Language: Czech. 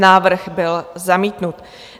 Návrh byl zamítnut.